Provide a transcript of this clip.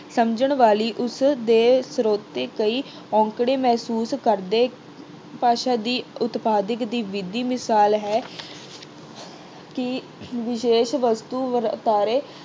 ਸਮਝਣ ਵਾਲੀ ਉਸਦੇ ਸਰੋਤੇ ਕਈ ਔਕੜ ਮਹਿਸੂਸ ਕਰਦੇ, ਭਾਸ਼ਾ ਦੀ ਉਤਪਾਦਕ ਦੀ ਵਿਧੀ ਮਿਸਾਲ ਹੈ ਕਿ ਵਿਸ਼ੇਸ਼ ਵਸਤੂ ਬ ਅਹ ਬਾਰੇ